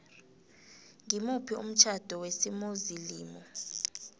ngimuphi umtjhado wesimuslimu